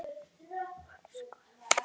Elskað hann